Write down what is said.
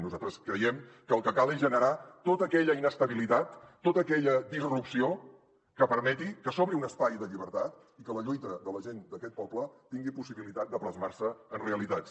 nosaltres creiem que el que cal és generar tota aquella inestabilitat tota aquella disrupció que permeti que s’obri un espai de llibertat i que la lluita de la gent d’aquest poble tingui possibilitat de plasmar se en realitats